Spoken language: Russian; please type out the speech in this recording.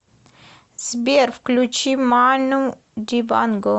сбер включи ману дибанго